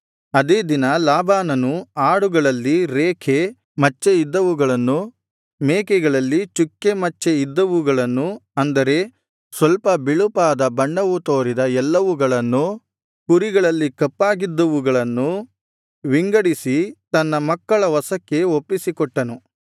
ಅದೇ ದಿನ ಲಾಬಾನನು ಆಡುಗಳಲ್ಲಿ ರೇಖೆ ಮಚ್ಚೆ ಇದ್ದವುಗಳನ್ನೂ ಮೇಕೆಗಳಲ್ಲಿ ಚುಕ್ಕೆ ಮಚ್ಚೆ ಇದ್ದವುಗಳನ್ನೂ ಅಂದರೆ ಸ್ವಲ್ಪ ಬಿಳುಪಾದ ಬಣ್ಣವು ತೋರಿದ ಎಲ್ಲವುಗಳನ್ನೂ ಕುರಿಗಳಲ್ಲಿ ಕಪ್ಪಾಗಿದ್ದುವುಗಳನ್ನೂ ವಿಂಗಡಿಸಿ ತನ್ನ ಮಕ್ಕಳ ವಶಕ್ಕೆ ಒಪ್ಪಿಸಿಕೊಟ್ಟನು